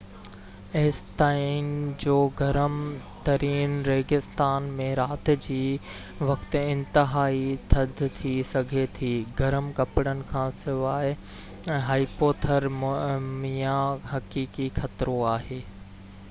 ايستائين جو گرم ترين ريگستان ۾ رات جي وقت انتهائي ٿڌ ٿي سگهي ٿي گرم ڪپڙن کان سواءِ هائيپوٿرميا حقيقي خطرو آهي